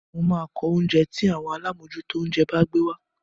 Mo máa ko oúnjẹ́ tí àwọn alámòójútó oúnjẹ bá gbé wá.